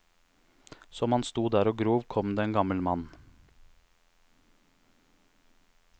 Som han sto der og grov, kom det en gammel mann.